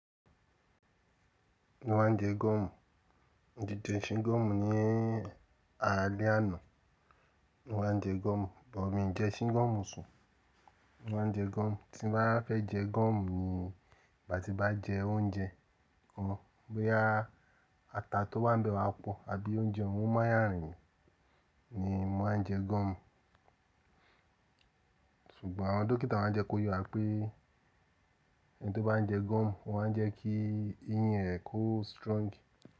Mo máa ń jẹ gọ́ọ̀mù, mo ti jẹ̀ ṣín gọ́ọ̀mù ní alẹ́ àná. Mo máa ń jẹ gọ́ọ̀mù, bọ̀ míì jẹ ṣín gọ́ọ̀mù sùn. Mo máa ń jẹ gọ́ọ̀mù, tí n bá fẹ́ jẹ gọ́ọ̀mù ni ngbà tí n bá jẹ oúnjẹ kan, boya ata tó wá ń bẹ owá pọ̀ àbí oúnjẹ ohun máya rin mì ni máa ń jẹ gọ́ọ̀mù. Ṣùgbọ́n àwọn dókítà máa ń jẹ kó ye wà pé ẹni tó bá ń jẹ gọ́ọ̀mù, ó máa ń jẹ́ kí eyín rẹ̀ ko strong.